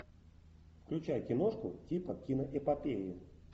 включай киношку типа киноэпопеи